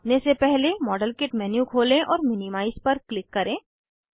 नापने से पहले मॉडलकिट मेन्यू खोलें और मिनिमाइज पर क्लिक करें